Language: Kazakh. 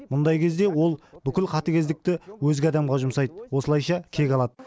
мұндай кезде ол бүкіл қатыгездікті өзге адамға жұмсайды осылайша кек алады